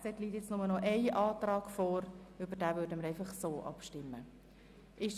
Zu dieser liegt inzwischen nur noch eine Planungserklärung vor, über welche wir direkt abstimmen werden.